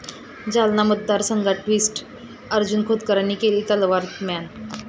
जालना मतदार संघात ट्विस्ट, अर्जुन खोतकरांनी केली तलवार म्यान?